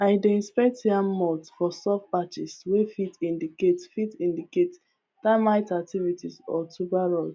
i dey inspect yam mounds for soft patches wey fit indicate fit indicate termite activity or tuber rot